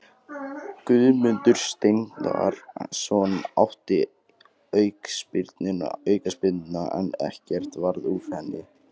Guðmundur Steinarsson átti aukaspyrnuna en ekkert varð úr henni.